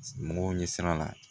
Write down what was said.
Mɔgɔw ɲɛ sira la